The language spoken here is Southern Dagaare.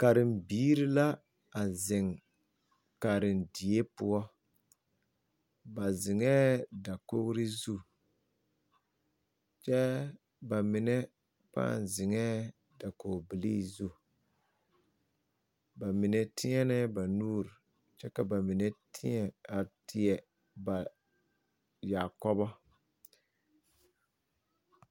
Karem biire la a zeŋ karendie poɔ ba zeŋɛɛ dakogre zu kyɛɛ ba mine paa zeŋɛɛ dakog bilii zu ba mine teɛnɛɛ ba nuure kyɛ ka ba mine tēɛ a teɛ ba yaakɔbɔ.